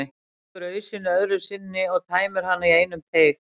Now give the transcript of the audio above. Stingur ausunni öðru sinni í og tæmir hana í einum teyg.